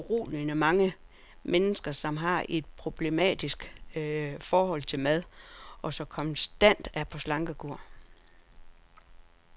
Der er foruroligende mange mennesker, som har et problematisk forhold til mad, og som konstant er på slankekur.